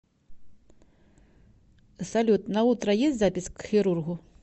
салют на утро есть запись к хирургу